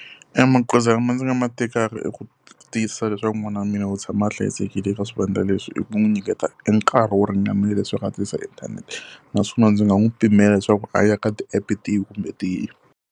E magoza lama ndzi nga ma tekaka i ku tiyisisa leswaku n'wana wa mina u tshama a hlayisekile eka swivandla leswi, i ku n'wi nyiketa e nkarhi wo ringanela leswaku a tirhisa inthanete. Naswona ndzi nga n'wi pimela leswaku a ya ka ti-app-e tihi kumbe tihi.